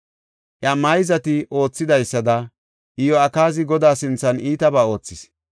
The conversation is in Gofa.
Iya mayzati oothidaysada, Iyo7akaazi Godaa sinthan iitaba oothis.